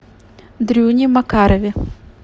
дрюне макарове